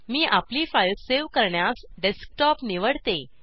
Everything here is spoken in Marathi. मी आपली फाइल सेव्ह करण्यास डेस्कटॉप निवडते